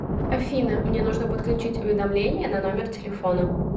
афина мне нужно подключить уведомление на номер телефона